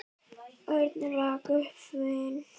Örn rak upp vein.